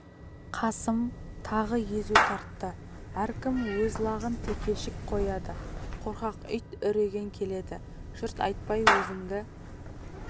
қасым тағы езу тартты әркім өз лағын текешік қояды қорқақ ит үреген келеді жұрт айтпай өзіңді